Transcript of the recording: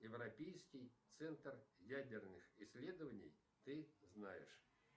европейский центр ядерных исследований ты знаешь